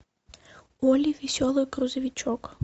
олли веселый грузовичок